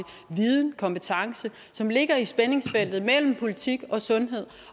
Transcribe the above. viden og kompetencer som ligger i spændingsfeltet mellem politik og sundhed